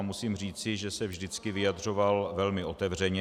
A musím říci, že se vždycky vyjadřoval velmi otevřeně.